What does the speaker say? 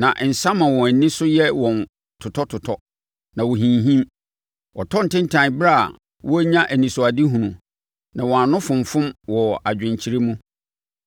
na nsã ma wɔn ani so yɛ wɔn totɔtotɔ; na wɔhinhim. Wɔtɔ ntentan ɛberɛ a wɔrenya anisoadehunu, na wɔn ano fonfom wɔ adwenkyerɛ mu.